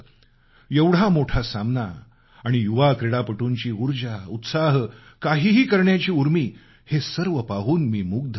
एवढा मोठा सामना आणि युवा क्रीडापटूंची उर्जा उत्साह काहीही करण्याची उर्मी हे सर्व पाहून मी मुग्ध झालो